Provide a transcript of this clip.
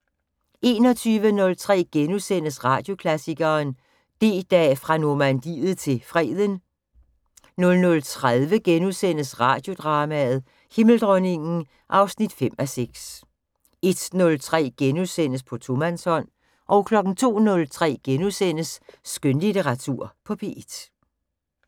21:03: Radioklassikeren: D-Dag, fra Normandiet til Freden * 00:30: Radiodrama: Himmeldronningen (5:6)* 01:03: På tomandshånd * 02:03: Skønlitteratur på P1 *